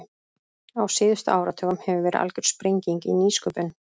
Á síðustu áratugum hefur verið algjör sprenging í nýsköpun.